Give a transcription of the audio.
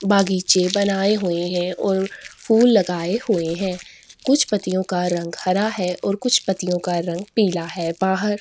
बागीचे बनाए हुए है और फूल लगाए हुए है कुछ पत्तियों का रंग हरा है और कुछ पतियों का रंग पीला है बाहर--